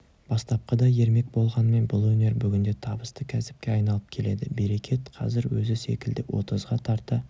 бастапқыда ермек болғанымен бұл өнер бүгінде табысты кәсіпке айналып келеді берекет қазір өзі секілді отызға тарта